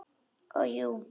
Ó, jú.